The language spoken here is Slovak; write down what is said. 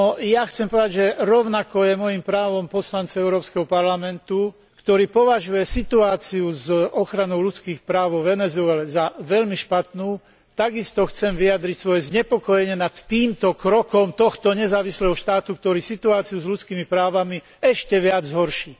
Je chcem povedať, že rovnako je mojím právom poslanca Európskeho parlamentu, ktorý považuje situáciu s ochranou ľudských práv vo Venezuele za veľmi špatnú, takisto chcieť vyjadriť znepokojenie nad týmto krokom tohto nezávislého štátu, ktorý situáciu s ľudskými právami ešte viac zhorší.